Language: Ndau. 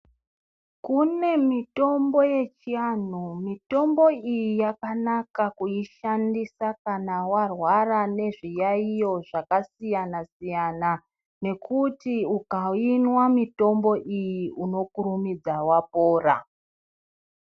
Kune mitombo yechianhu mitombo iyi yakanaka kuishandisa kana wairwara nezviyaiyo zvakasiyana siyana nekuti ukainwa mitombo iyi unokurumidza wapora.